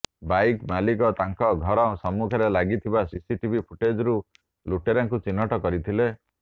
bike ମାଲିକ ତାଙ୍କ ଘର ସମ୍ମୁଖରେ ଲାଗିଥିବା ସିସିଟିଭି ଫୁଟେଜ୍ରୁ ଲୁଟେରାକୁ ଚିହ୍ନଟ କରିଥିଲେ